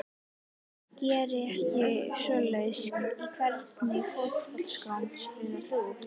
Geri ekki svoleiðis Í hvernig fótboltaskóm spilar þú?